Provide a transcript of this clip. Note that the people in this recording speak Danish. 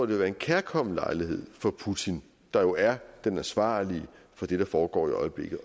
vil være en kærkommen lejlighed for putin der jo er den ansvarlige for det der foregår i øjeblikket